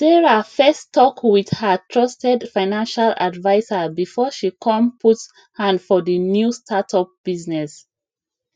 sarah first talk with her trusted financial adviser before she con put hand for the new startup business